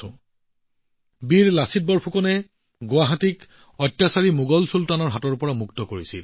সাহসী লাচিত বৰফুকনে গুৱাহাটীক অত্যাচাৰী মোগল চুলতানৰ কবলৰ পৰা মুক্ত কৰিছিল